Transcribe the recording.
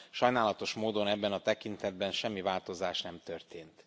Sajnálatos módon ebben a tekintetben semmi változás nem történt.